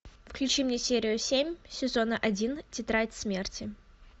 включи мне серию семь сезона один тетрадь смерти